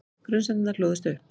Grunsemdirnar hlóðust upp.